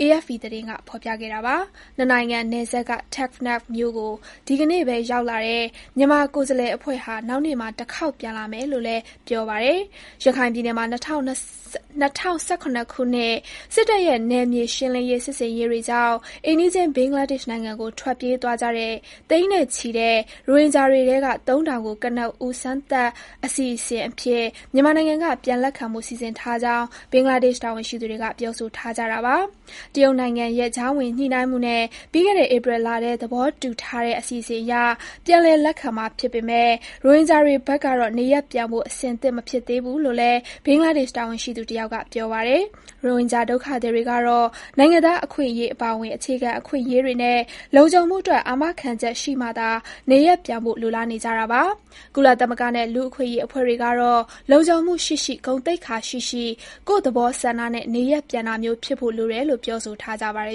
AFP သတင်းက ဖော်ပြခဲ့တာပါ။ ၂ နိုင်ငံ နယ်စပ်က Teknaf မြို့ကို ဒီကနေ့ပဲ ရောက်လာတဲ့ မြန်မာကိုယ်စားလှယ် အဖွဲ့ဟာ နောက်နေ့မှာ တခေါက်ပြန်လာမယ်လို့လည်း ပြောပါတယ်။ ရခိုင်ပြည်နယ်မှာ ၂၀၁၇ ခုနှစ် စစ်တပ်ရဲ့ နယ်မြေရှင်းလင်းရေး စစ်ဆင်ရေးတွေကြောင့် အိမ်နီးချင်း ဘင်္ဂလားဒေ့ရှ်နိုင်ငံကို ထွက်ပြေးသွားကြတဲ့ သိန်းနဲ့ချီတဲ့ ရိုဟင်ဂျာတွေထဲက ၃ ထောင်ကို ကနဦး စမ်းသပ်အစီအစဉ်အဖြစ် မြန်မာနိုင်ငံက ပြန်လက်ခံဖို့ စီစဉ်ထားကြောင်း ဘင်္ဂလားဒေ့ရှ် တာဝန်ရှိသူတွေက ပြောဆိုထားကြတာပါ။ တရုတ်နိုင်ငံရဲ့ ကြားဝင်ညှိနှိုင်းမှုနဲ့ ပြီးခဲ့တဲ့ ဧပြီလထဲ သဘောတူထားတဲ့ အစီအစဉ်အရ ပြန်လည်လက်ခံမှာ ဖြစ်ပေမဲ့ ရိုဟင်ဂျာတွေဖက်ကတော့ နေရပ်ပြန်ဖို့ အဆင်သင့် မဖြစ်သေးဘူးလို့လည်း ဘင်္ဂလားဒေ့ရှ် တာဝန်ရှိသူတယောက်က ပြောပါတယ်။ ရိုဟင်ဂျာ ဒုက္ခသည်တွေကတော့ နိုင်ငံသား အခွင့်အရေး အပါအဝင် အခြေခံအခွင့်အရေးတွေနဲ့ လုံခြုံမှုအတွက် အာမခံချက် ရှိမှသာ နေရပ်ပြန်ဖို့ လိုလားနေကြတာပါ။ ကုလသမဂ္ဂနဲ့ လူ့အခွင့်အရေး အဖွဲ့တွေကတော့ လုံခြုံမှုရှိရှိ၊ ဂုဏ်သိက္ခာရှိရှိ ကိုယ့်သဘောဆန္ဒနဲ့ နေရပ်ပြန်တာမျိုး ဖြစ်ဖို့လိုတယ်လို့ ပြောဆိုထားကြပါတယ်